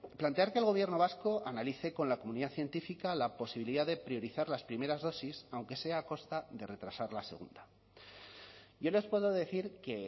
plantear que el gobierno vasco analice con la comunidad científica la posibilidad de priorizar las primeras dosis aunque sea a costa de retrasar la segunda yo les puedo decir que